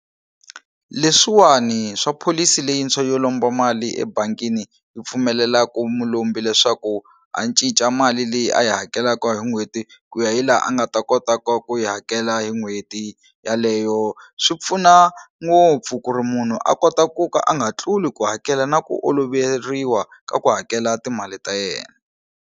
Leswiwani swa pholisi leyintshwa yo lomba mali ebangini yi pfumeleku mulombi leswaku a cinca mali leyi a yi hakelaku hi n'hweti ku ya hi laha a nga ta kota ku va ku yi hakela hi n'hweti yaleyo swi pfuna ngopfu ku ri munhu a kota ku ka a nga tluli ku hakela na ku oloveriwa ku hakela timali ta yena.